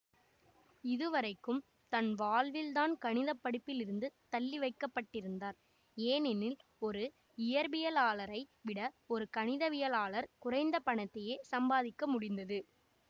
இதுவரைக்கும் தன் வாழ்வில் தான் கணித படிப்பிலிருந்து தள்ளவைக்கப்பட்டிருந்தார் ஏனெனில் ஒரு இயற்பியலாளரை விட ஒரு கணிதவியலாளர் குறைந்த பணத்தையே சம்பாதிக்க முடிந்தது